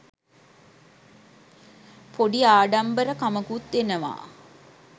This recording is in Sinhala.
පොඩි ආඩම්බරකමකුත් එනවා.